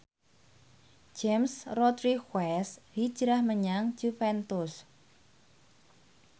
James Rodriguez hijrah menyang Juventus